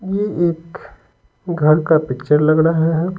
ये एक घर का पिक्चर लग रहा है।